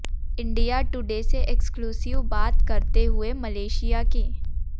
India today से exclusive बात करते हुए मलेशिया के